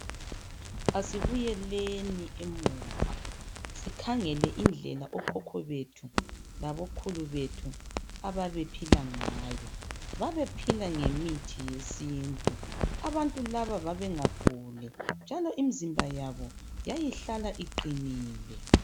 Asibuyeleni emuva, sikhangele indlela akhokho bethu labokhuku wethu ababe phila ngayo. Babephila ngemithi yesintu. Abantu laba babengaguli, njalo imzimba yabo yayihla iqinile.